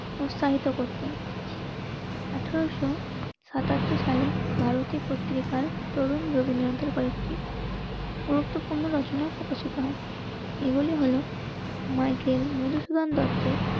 প্রসারিত করতেন. আঠারোশো সাতাত্তর সালে ভারতে পত্রিকার তরুণ রবীন্দ্রনাথের কয়েকটি গুরুত্বপূর্ণ রচনার প্রকাশিত হয়. এগুলি হল মাইকেল, মধুসূদন দত্তের